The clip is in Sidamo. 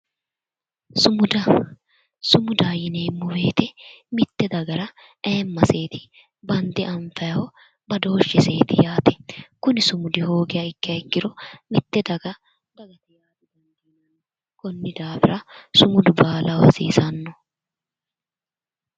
Sumuda sumuda yineemmo woyte mitte dagara ayeemmaseeti bande anfayho badooshsheseeti yaate kuni sumudi hoogiha ikkiha ikkiro mitte daga danfanni konni daafira sumudu baalaho hasiisanno